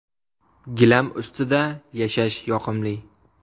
Gilam ustida yashash yoqimli.